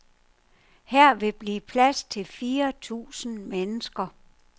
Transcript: Her vil blive plads til fire tusinde mennesker.